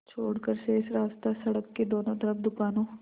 छोड़कर शेष रास्ता सड़क के दोनों तरफ़ दुकानों